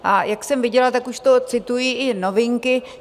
A jak jsem viděla, tak už to citují i Novinky.